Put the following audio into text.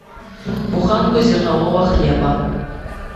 буханку зернового хлеба